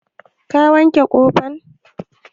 Ka wanke wuƙan?